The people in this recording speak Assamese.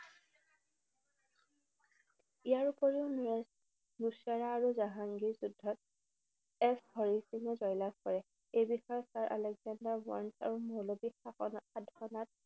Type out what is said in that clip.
ইয়াৰ উপৰিও নুস্ৰা আৰু জাহাঙ্গীৰৰ যুদ্ধত এছ হৰি সিঙে জয়লাভ কৰে। এই বিষয়ে ছাৰ আলেকজেণ্ডাৰ ৱাৰ্নছ আৰু মৌলবী